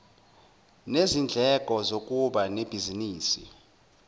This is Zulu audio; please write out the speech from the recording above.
nezindleko zokuba nebhizinisi